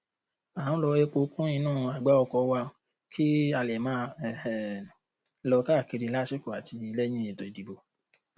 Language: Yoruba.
a ń rọ epo kún inú àgbá ọkọ wa kí a lè máa um lọ káàkiri lásìkò àti lẹyìn ètò ìdìbò